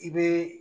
I bɛ